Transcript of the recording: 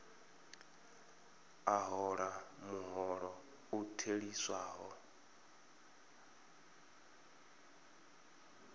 a hola muholo u theliswaho